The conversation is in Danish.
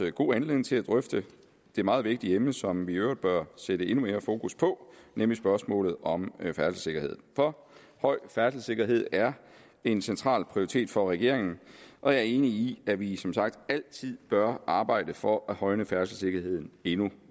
en god anledning til at drøfte det meget vigtige emne som vi i øvrigt bør sætte endnu mere fokus på nemlig spørgsmålet om færdselssikkerhed for høj færdselssikkerhed er en central prioritet for regeringen og jeg er enig i at vi som sagt altid bør arbejde for at højne færdselssikkerheden endnu